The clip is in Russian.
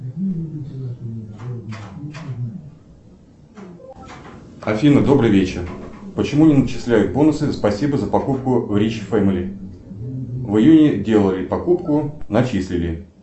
афина добрый вечер почему не начисляют бонусы спасибо за покупку в рич фэмили в июне делали покупку начислили